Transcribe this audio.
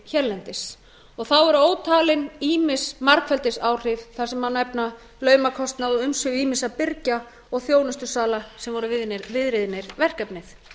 hérlendis þá eru ótalin ýmis margfeldisáhrif þar sem má nefna launakostnað og umsvif ýmissa birgja og þjónustusala sem voru viðriðnir verkefnið